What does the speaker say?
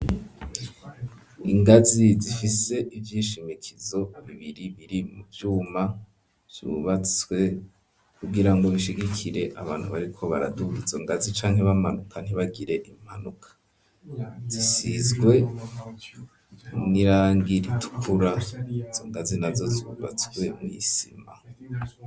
Ingazi zifise ivyishimikizo bibiri biri mu vyuma, vyubatswe kugira ngo bishigikire abantu bariko baraduga izo ngazi, canke bamanuka ntibagire impanuka, zisizwe n'irangi ritukura izo ngazi nazo zubatswe mw'isima.